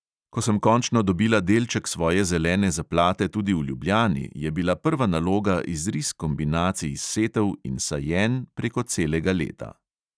Ko sem končno dobila delček svoje zelene zaplate tudi v ljubljani, je bila prva naloga izris kombinacij setev in sajenj preko celega leta.